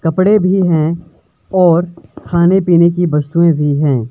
कपड़े भी हैं और खाने पीने की वस्तुएं भी हैं।